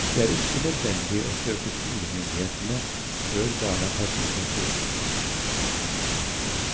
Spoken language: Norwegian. Det er ikke nødvendig å søke skolemyndighetene før barna tas ut av skolen.